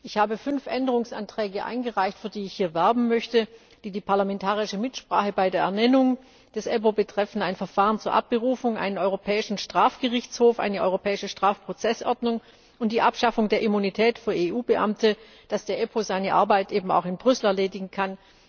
Ich habe fünf Änderungsanträge eingereicht, für die ich hier werben möchte, die die parlamentarische Mitsprache bei der Ernennung des EPPO betreffen ein Verfahren zur Abberufung, einen Europäischen Strafgerichtshof, eine Europäische Strafprozessordnung und die Abschaffung der Immunität für EU Beamte, damit das EPPO seine Arbeit eben auch in Brüssel erledigen kann.